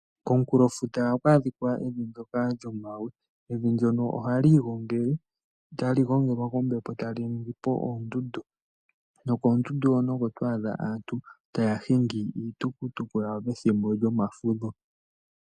Komunkulo nefuta ohaku adhika evi nkoka lyomagwe, evi ndjono ohali igongele, tali gongelwa kombepo etali ningipo oondundu, nokoondundu hono oko to adha aantu taya hingi iitukutuku yawo pethimbo lyomafudho.